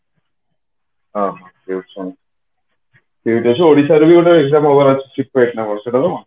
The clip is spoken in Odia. ଅହ ଠିକ ଅଛି ଓଡିଶାରେ ବି ଗୋଟେ exam ହବାର ଅଛି କଣ ସେଇଟା ତ